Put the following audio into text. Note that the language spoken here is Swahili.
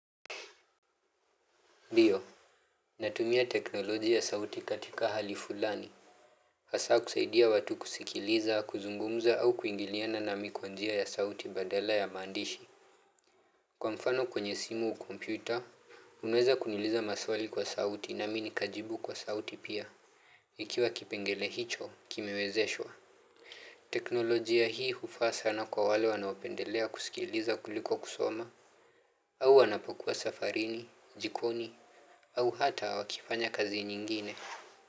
Ndiyoo. Natumia teknolojia ya sauti katika hali fulani. Hasa kusaidia watu kusikiliza, kuzungumuza au kuingiliana na mimi kwa njia ya sauti badala ya maandishi. Kwa mfano kwenye simu au kompyuta, unaweza kuniuliza maswali kwa sauti na mimi nikajibu kwa sauti pia. Ikiwa kipengele hicho, kimewezeshwa. Teknolojia hii hufaa sana kwa wale wanaopendelea kusikiliza kuliko kusoma. Au wanapokuwa safarini, jikoni, au hata wakifanya kazi nyingine.